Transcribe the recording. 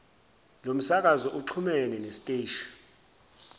lomsakazo uxhumene nesiteshi